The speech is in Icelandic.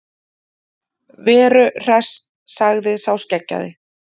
Veru Hress, sagði sá skeggjaði.